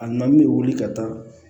A na min bɛ wuli ka taa